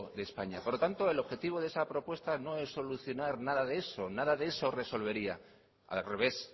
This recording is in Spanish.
de españa por lo tanto el objetivo de esa propuesta no es solucionar nada de eso nada de eso resolvería al revés